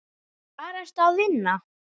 Hvar ertu að vinna?